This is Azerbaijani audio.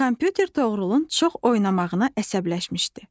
Kompüter Toğrulun çox oynamağına əsəbləşmişdi.